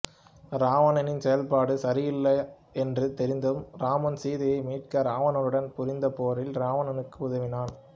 இராவணனின் செயற்பாடு சரியல்ல என்று தெரிந்தும் இராமன் சீதையை மீட்க இராவணனுடன் புரிந்த போரில் இராவணனுக்கு உதவினான்